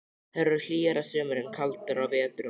Þær eru hlýjar að sumri en kaldar á vetrum.